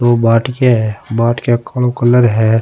दो बाटीया है बाट या को कालो कलर है।